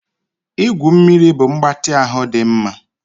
Igwu mmiri bụ mgbatị ahụ dị mma